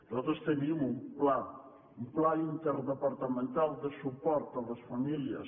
nosaltres tenim un pla un pla interdepartamental de suport a les famílies